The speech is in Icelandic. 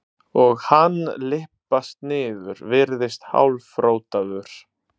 og hann lyppast niður, virðist hálfrotaður.